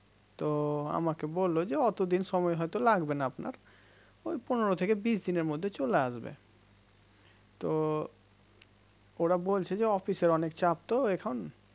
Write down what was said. তো আমাকে বলল যে অতদিন সময় হয়তো লাগবে না আপনার পনেরো থেকে বিশ দিনের মধ্যে চলে আসবে তো ওরা বলছে যে অফিসের অনেক চাপ তো এখন